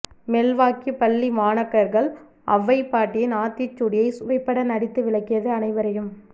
Milwaukee பள்ளி மாணாக்கர்கள் ஒளவைப்பாட்டியின் ஆத்திச்சூடியைச் சுவைபட நடித்து விளக்கியது அனைவரையும்